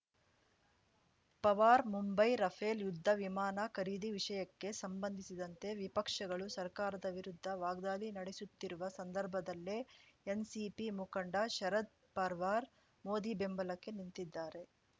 Pawar Mumbai Rafale ಯುದ್ಧ ವಿಮಾನ ಖರೀದಿ ವಿಷಯಕ್ಕೆ ಸಂಬಂಧಿಸಿದಂತೆ ವಿಪಕ್ಷಗಳು ಸರ್ಕಾರದ ವಿರುದ್ಧ ವಾಗ್ದಾಳಿ ನಡೆಸುತ್ತಿರುವ ಸಂದರ್ಭದಲ್ಲೇ ಎನ್‌ಸಿಪಿ ಮುಖಂಡ ಶರದ್‌ ಪರ್ವಾರ್‌ ಮೋದಿ ಬೆಂಬಲಕ್ಕೆ ನಿಂತಿದ್ದಾರೆ